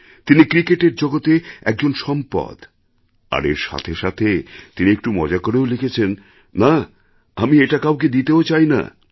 তিনি ক্রিকেটের জগতে একজন সম্পদ আর এর সাথে সাথে তিনি একটু মজা করেও লিখেছেন না আমি এটা কাউকে দিতেও চাই না